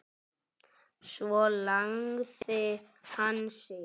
Svo lagði hann sig.